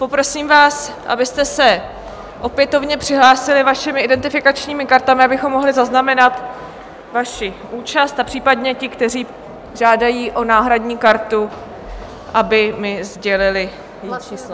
Poprosím vás, abyste se opětovně přihlásili vašimi identifikačními kartami, abychom mohli zaznamenat vaši účast, a případně ti, kteří žádají o náhradní kartu, aby mi sdělili její číslo.